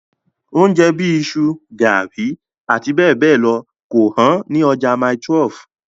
Oúnjẹ bíi iṣu, garri, abbl kò hán ní ọjà mile 12.